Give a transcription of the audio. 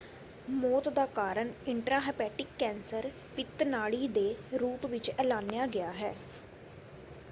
ਮੌਤ ਦਾ ਕਾਰਨ ਇੰਟ੍ਰਾਂਹੇਪੇਟਿਕ ਕੈਂਸਰ ਪਿਤ ਨਾੜੀ ਦੇ ਰੂਪ ਵਿੱਚ ਐਲਾਨਿਆ ਗਿਆ ਹੈ।